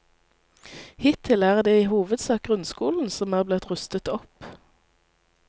Hittil er det i hovedsak grunnskolen som er blitt rustet opp.